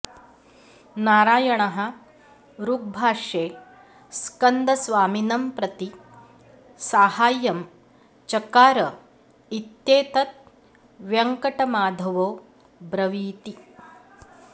नारायणः ऋग्भाष्ये स्कन्दस्वामिनं प्रति साहाय्यं चकार इत्येतद् वेङ्कटमाधवो ब्रवीति